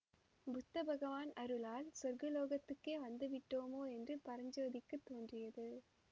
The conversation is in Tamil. புத்த பகவான் அருளால் சொர்க்கலோகத்துக்கே வந்து விட்டோமோ என்று பரஞ்சோதிக்குத் தோன்றியது